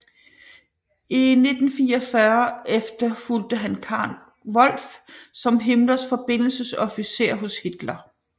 I 1944 efterfulgte han Karl Wolff som Himmlers forbindelsesofficer hos Hitler